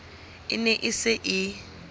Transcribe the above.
e ne e se e